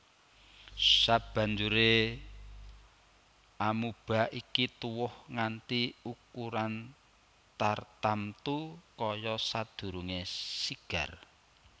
Sabanjuré amoeba iki tuwuh nganti ukuran tartamtu kaya sadurungé sigar